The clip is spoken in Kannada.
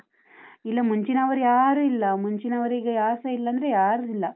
ಇಲ್ಲ ಮುಂಚಿನವರು ಯಾರೂ ಇಲ್ಲ, ಮುಂಚಿನವರೀಗ ಯಾರ್ಸ ಇಲ್ಲ ಅಂದ್ರೆ ಯಾರೂ ಇಲ್ಲ.